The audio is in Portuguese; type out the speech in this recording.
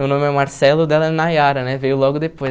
Meu nome é Marcelo, o dela é Nayara, né, veio logo depois.